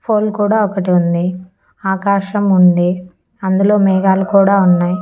Phone కూడా ఒకటి ఉంది ఆకాశం ఉంది అందులో మేఘాలు కూడా ఉన్నాయి.